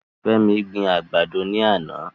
Femi gbin àgbàdo ní àná.